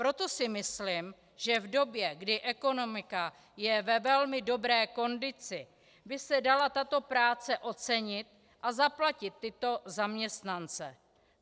Proto si myslím, že v době, kdy ekonomika je ve velmi dobré kondici, by se dala tato práce ocenit a zaplatit tyto zaměstnance.